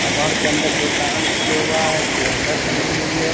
आ घर के अंदर दोकान खोले हुआ हैं कैलेंडर टंगी हुई है।